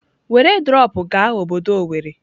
Were drọpụ gaa obodo owerri!